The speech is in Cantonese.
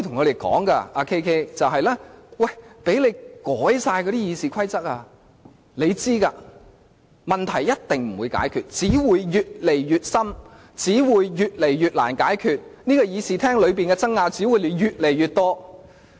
你知道即使你們修改了《議事規則》，問題也一定不會解決，問題只會越來越新、越來越難解決，議事廳裏的爭拗只會越來越多。